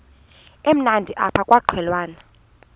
emnandi apha kwaqhelwana